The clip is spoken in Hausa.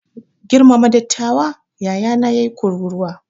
Girmama dattawa! yayana ya yi kururuwa.